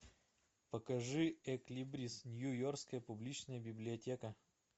покажи экслибрис нью йоркская публичная библиотека